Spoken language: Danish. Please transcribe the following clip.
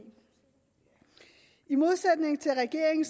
i modsætning til regeringen